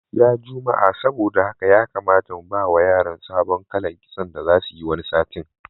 Ya jumma'a saboda haka ya kamata mu bawa yaran sabon kalan kitso da zasu yi wani satin.